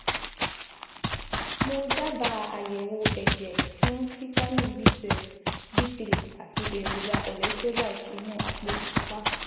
Mo dábàá àyẹ̀wò ẹ̀jẹ̀ fún fítámì B twelve, D three, àti èròjà electrolyte inú àpò ìfúnpá